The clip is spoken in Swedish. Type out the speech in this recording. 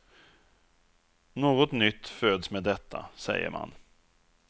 Något nytt föds med detta, säger man.